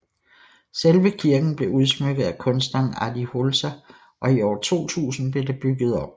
Selve kirken blevet udsmykket af kunstneren Adi Holzer og i år 2000 blev der bygget om